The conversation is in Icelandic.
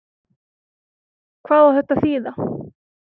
Hvað á þetta að þýða?